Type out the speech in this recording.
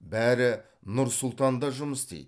бәрі нұр сұлтанда жұмыс істейді